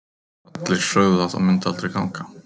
Allir sögðu að það myndi aldrei ganga.